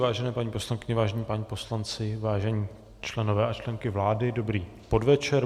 Vážené paní poslankyně, vážení páni poslanci, vážení členové a členky vlády, dobrý podvečer.